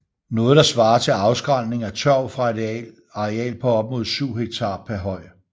Noget der svarer til afskrælning af tørv fra et areal på op mod 7 hektar per høj